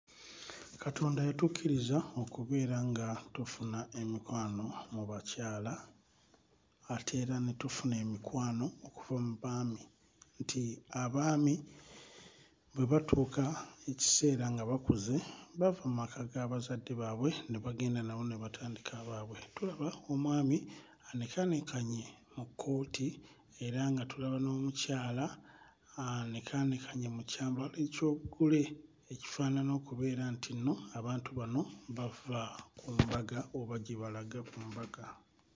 Katonda yatukkiriza okubeera nga tufuna emikwano mu bakyala ate era ne tufuna emikwano okuva mu baami nti, abaami bwe batuuka ekiseera nga bakuze bava mu maka ga bazadde baabwe ne bagenda nabo ne batandika agaabwe. Tulaba omwami anekaanekanye mu kkooti era nga tulaba n'omukyala anekaanekanye mu kyambalo eky'obugole ekifaanana okubeera nti nno abantu bano bava ku mbaga oba gye balaga ku mbaga.